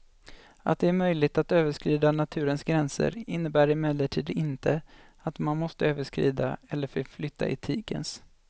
Att det är möjligt att överskrida naturens gränser innebär emellertid inte att man måste överskrida eller förflytta etikens.